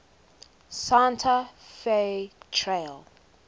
santa fe trail